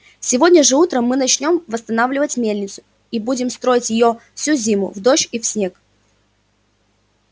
сегодня же утром мы начнём восстанавливать мельницу и мы будем строить её всю зиму в дождь и в снег